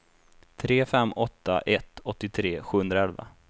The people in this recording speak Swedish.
tre fem åtta ett åttiotre sjuhundraelva